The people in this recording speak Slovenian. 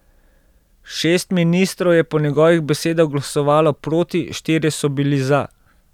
Šest ministrov je po njegovih besedah glasovalo proti, štirje so bili za.